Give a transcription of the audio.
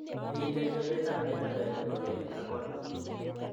Miten ng'emetap enamel ne po kelek ang'wanu.